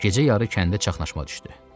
Gecə yarı kəndə çaxnaşma düşdü.